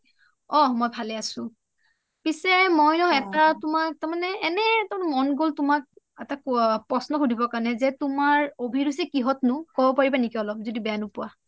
অ মই ভালে আছো | পিচে মোই উ তোমাৰ তাৰমানে এটা এনে মন গ'ল তুমাক এটা প্ৰশ্ন সুধিবো জে তোমাৰ অভিৰুচি কিহত নো ক'ব পাৰিবা নেকি আলোপ যদি বেয়া নোপোৱা